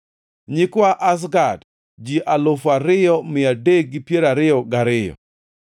nyikwa Azgad, ji alufu ariyo mia adek gi piero ariyo gariyo (2,322),